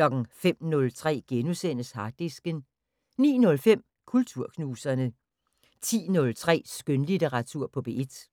05:03: Harddisken * 09:05: Kulturknuserne 10:03: Skønlitteratur på P1